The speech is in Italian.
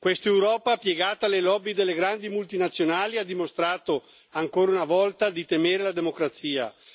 Questa Europa piegata alle lobby delle grandi multinazionali ha dimostrato ancora una volta di temere la democrazia.